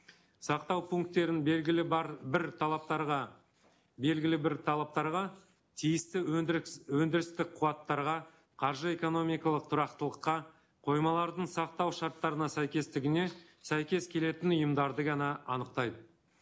сақтау пункттерін белгілі бар бір талаптарға белгілі бір талаптарға тиісті өндірістік қуаттарға қаржы экономикалық тұрақтылыққа қоймалардың сақтау шарттарына сәйкестігіне сәйкес келетін ұйымдарды ғана анықтайды